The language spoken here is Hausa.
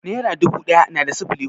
Nera dubu ɗaya na da sifili hudu?